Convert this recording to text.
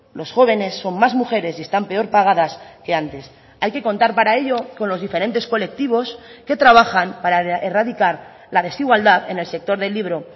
los jóvenes son más mujeres y están peor pagadas que antes hay que contar para ello con los diferentes colectivos que trabajan para erradicar la desigualdad en el sector del libro